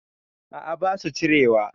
A'a basu cirewa